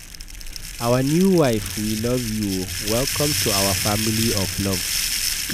Our new wife we love you oo, welcome to our family of love.